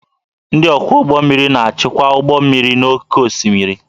Ndị ọkwọ ụgbọ mmiri na-achịkwa ụgbọ mmiri n'oké osimiri